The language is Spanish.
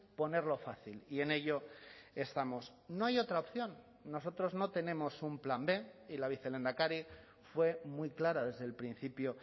ponerlo fácil y en ello estamos no hay otra opción nosotros no tenemos un plan b y la vicelehendakari fue muy clara desde el principio